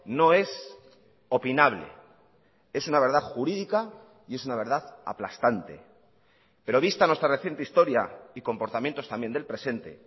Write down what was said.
no es opinable es una verdad jurídica y es una verdad aplastante pero vista nuestra reciente historia y comportamientos también del presente